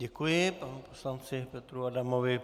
Děkuji panu poslanci Petru Adamovi.